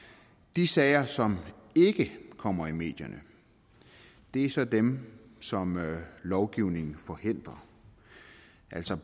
de sager som ikke kommer i medierne er så dem som lovgivningen nu forhindrer altså